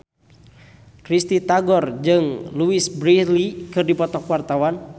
Risty Tagor jeung Louise Brealey keur dipoto ku wartawan